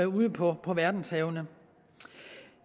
ude på verdenshavene